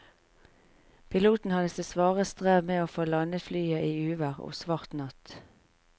Piloten hadde sitt svare strev med å få landet flyet i uvær og svart natt.